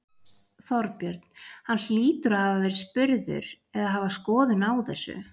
Þorbjörn: Hann hlýtur að hafa verið spurður eða hafa skoðun á þessu?